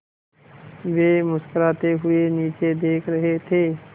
वे मुस्कराते हुए नीचे देख रहे थे